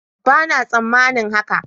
Bana tsammanin haka.